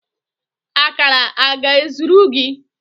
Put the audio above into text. Akara a ọ ga-ezuru gị?